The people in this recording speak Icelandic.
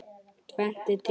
Tvennt er til.